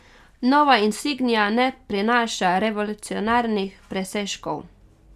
Nova insignia ne prinaša revolucionarnih presežkov.